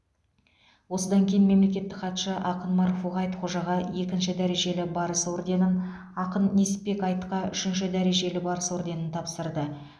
осыдан кейін мемлекеттік хатшы ақын марфуға айтхожаға екінші дәрежелі барыс орденін ақын несіпбек айтқа үшінші дәрежелі барыс орденін тапсырды